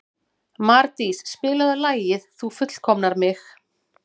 Mardís, spilaðu lagið „Þú fullkomnar mig“.